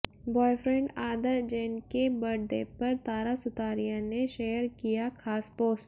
boyfriend Aadar Jain के birthday पर तारा सुतारिया ने शेयर किया खास पोस्ट